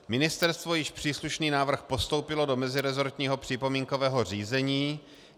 Ministerstvo již příslušný návrh postoupilo do meziresortního připomínkového řízení.